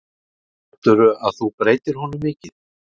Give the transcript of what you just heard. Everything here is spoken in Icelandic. Heldurðu að þú breytir honum mikið?